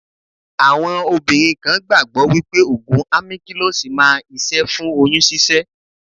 Àwọn obìnrin kan gbàgbó wípé Ògùn Àmíkílọ́sì máa ń iṣẹ́ fún oyún ṣíṣẹ́.